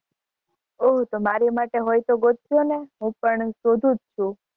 ઓહ તો મારી માટે હોય તો ગોતજો ને હું પણ શોધું જ છું.